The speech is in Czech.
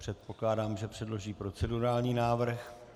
Předpokládám, že předloží procedurální návrh.